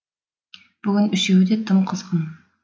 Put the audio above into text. бүгін үшеуі де тым қызғын